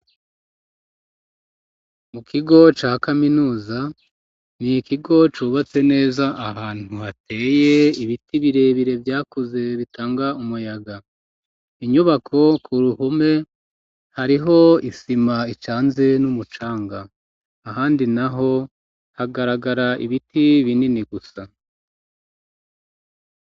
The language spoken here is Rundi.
Mu kigo ca kaminuza n'ikigo cubatse neza ahantu hateye ibiti birebire vyakuze bitanga umuyaga inyubako ku ruhome hariho isima icanze n'umucanga ahandi naho hagaragara ibiti binini gusa